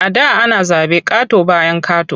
A da ana zaɓe ƙato-bayan ƙato.